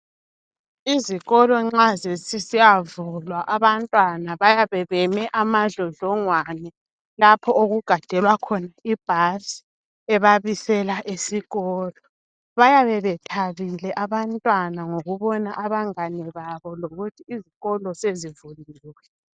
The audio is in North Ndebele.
Izikolo nxa sezisiyavulwa abantwana bayabe beme amadlodlongwane lapho okugadelwa khona ibus ebabisela esikolo. Bayabe bethabile abantwana ngokubona abangane babo lokuthi izikolo sezivuliwe.